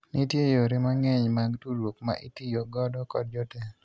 nitie yore mang'eny mag tudruok ma itiyo godo kod jotelo